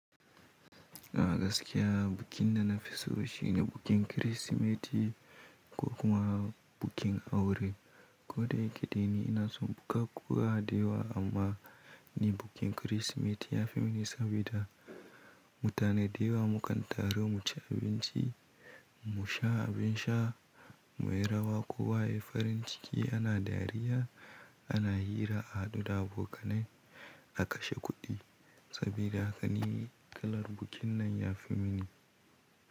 A gaskiya, bikin da na fi so shine bikin Kirsimeti ko kuma bikin aure. Ko da yake dai ni ina son buka kuwa da yawa amma ni bikin Kirsimeti ya fi mini sabida mutane da yawa mukan taru mu ci abinci, mu sha abin sha, mu yi rawa kowa yi farin ciki ana dariya, ana hira, a haɗu da abokanai, a kashe kuɗi. Sabida haka ni kalar bikin nan ya fi mini.